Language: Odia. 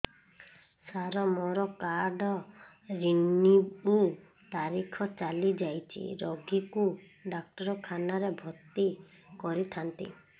ସାର ମୋର କାର୍ଡ ରିନିଉ ତାରିଖ ଚାଲି ଯାଇଛି ରୋଗୀକୁ ଡାକ୍ତରଖାନା ରେ ଭର୍ତି କରିଥାନ୍ତି